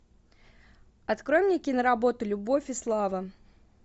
открой мне киноработу любовь и слава